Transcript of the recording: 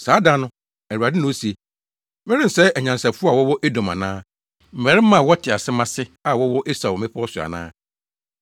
“Saa da no,” Awurade na ose, “Merensɛe anyansafo a wɔwɔ Edom ana, mmarima a wɔte asɛm ase a wɔwɔ Esau mmepɔw so ana?